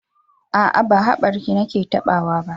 A'a, ba haɓarki nake taɓawa ba.